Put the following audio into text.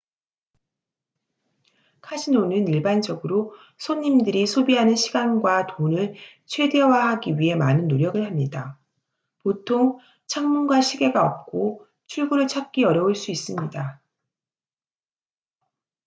카지노는 일반적으로 손님들이 소비하는 시간과 돈을 최대화하기 위해 많은 노력을 합니다 보통 창문과 시계가 없고 출구를 찾기 어려울 수 있습니다